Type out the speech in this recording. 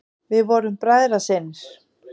Við vorum bræðrasynir.